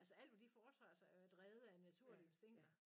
Altså alt hvad de foretager sig er jo drevet af naturlige instinkter